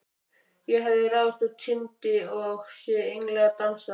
Ég hefði ráðist á tindinn og séð englana dansa.